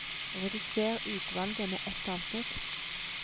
Redusér utvalget med ett avsnitt